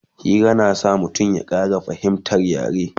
Hira na sa mutum ya Ƙara fahimtar yare